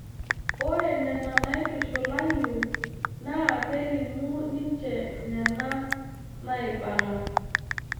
Ore Nena naitushulayu naakelimu ninche Nena naaibala.